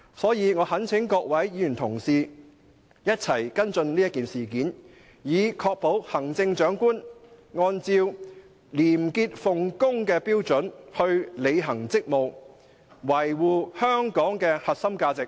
所以，我懇請各位議員同事一起跟進此事件，以確保行政長官按照廉潔奉公的標準來履行職務，維護香港的核心價值。